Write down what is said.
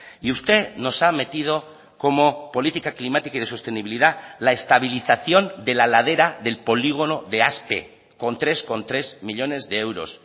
y usted nos ha metido como política climática y de sostenibilidad la estabilización de la ladera del polígono de aspe con tres coma tres millónes de euros